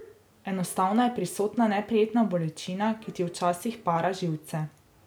Enostavno je prisotna neprijetna bolečina, ki ti včasih para živce.